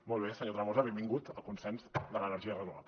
molt bé senyor tremosa benvingut el consens de l’energia renovable